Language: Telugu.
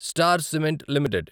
star cement limited